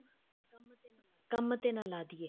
ਕੰਮ ਤੇ ਨਾ ਲਾਦੀਏ